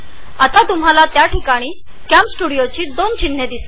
आता तुम्हाला कॅमस्टुडिओची दोन चिन्हे दिसतील